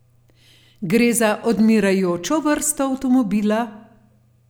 Gre za odmirajočo vrsto avtomobila?